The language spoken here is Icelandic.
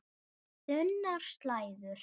Þunnar slæður.